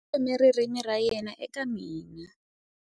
U tlhome ririmi ra yena eka mina.